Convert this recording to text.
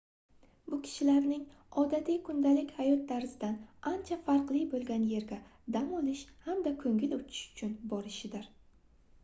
bu kishilarning odatiy kundalik hayot tarzidan ancha farqli boʻlgan yerga dam olish hamda koʻngil ochish uchun borishidir